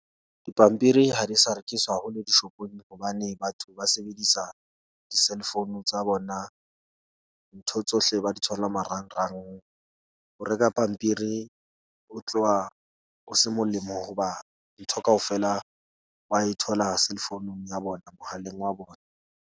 Dipampiri ha di sa rekiswa hole di-shop-ong hobane batho ba sebedisa di-cell phone tsa bona. Ntho tsohle ba di thola marangrang. Ho reka pampiri o tloha o se molemo hoba ntho kaofela wa e thola cell phone-ung ya bona, mohaleng wa bona.